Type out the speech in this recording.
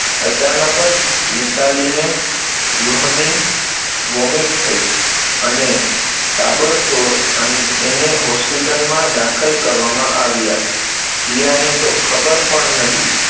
અચાનક જ મિતાલીને લોહીની vomit થઇ, અને તાબડતોડ એને hospital માં દાખલ કરવામાં આવ્યા, જીયાને તો ખબર પણ નહિ.